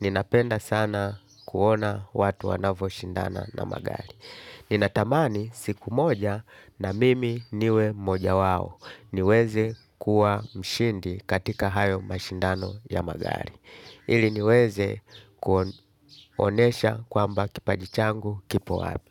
Ninapenda sana kuona watu wanavo shindana na magari. Ninatamani siku moja na mimi niwe mmoja wao. Niweze kuwa mshindi katika hayo mashindano ya magari. Ili niweze kuonesha kwamba kipaji changu kipo wapi.